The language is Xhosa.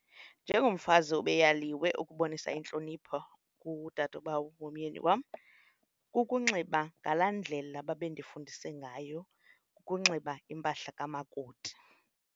Njengomfazi ube yaliwe ukubonisa intlonipho koodadobawo bomyeni wam kukunxiba ngalaa ndlela babe ndifundise ngayo kukunxiba impahla kamakoti.